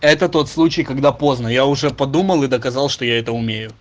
это тот случай когда поздно я уже подумал и доказал что я это умею